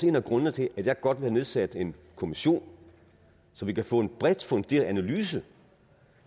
en af grundene til at jeg godt vil have nedsat en kommission så vi kan få en bredt funderet analyse